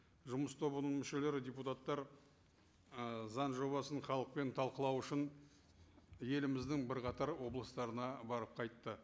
жұмыс тобының мүшелері депутаттар ы заң жобасын халықпен талқылау үшін еліміздің бірқатар облыстарына барып қайтты